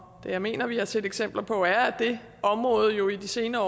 jeg mener vi har set eksempler på at det område i de senere